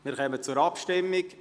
Wir kommen zur Abstimmung.